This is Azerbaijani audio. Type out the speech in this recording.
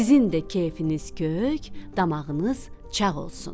Sizin də keyfiniz kök, damağınız çağ olsun.